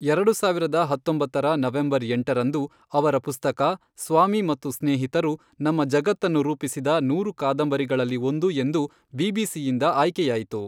ಎರಡು ಸಾವಿರದ ಹತ್ತೊಂಬತ್ತರ ನವೆಂಬರ್ ಎಂಟರಂದು, ಅವರ ಪುಸ್ತಕ, ಸ್ವಾಮಿ ಮತ್ತು ಸ್ನೇಹಿತರು, ನಮ್ಮ ಜಗತ್ತನ್ನು ರೂಪಿಸಿದ ನೂರು ಕಾದಂಬರಿಗಳಲ್ಲಿ ಒಂದು ಎಂದು ಬಿಬಿಸಿಯಿಂದ ಆಯ್ಕೆಯಾಯಿತು.